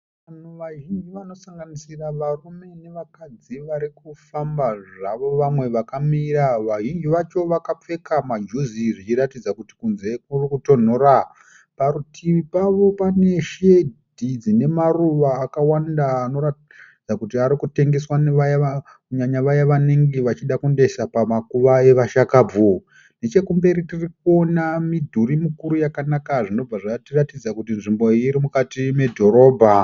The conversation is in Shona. Vanhu vazhinji vanosanganisira varume nevakadzi varikufamba zvavo vamwe vakamira vazhinji vacho vakapfeka majuzi zvichiratidza kuti kunze kurikutonhora , parutivu pavo pane shedhi dzine maruva akawanda anoratidza kuti arikutengeswa, kunyanya vaye vanenge vachida kunoisa pamakuva evashakabvu , nechekumberi tirikuona midhuri mukuru zvinobva zvatiratidza kuti nzvimbo yacho iri mudhorobha.